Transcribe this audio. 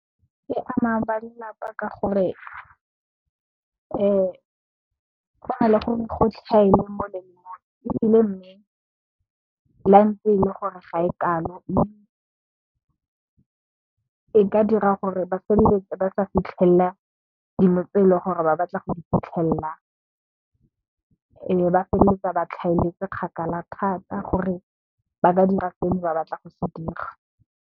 E ama ba lelapa ka gore go na le gore gotlhaele molemo ebile mme, la e ntse ele gore ga e kalo mme, e ka dira gore ba feleletse ba sa fitlhelela dilo tse eleng gore ba batla go di fitlhelela e be ba feleletsa ba tlhaeletse kgakala thata gore ba ka dira se ne ba batla go se dira.